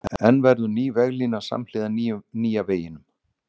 En verður ný veglína samhliða nýja veginum?